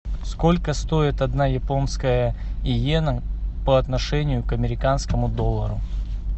сколько стоит одна японская йена по отношению к американскому доллару